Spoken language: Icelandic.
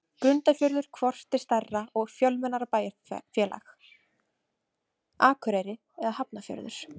Grundarfjörður Hvort er stærra og fjölmennara bæjarfélag, Akureyri eða Hafnarfjörður?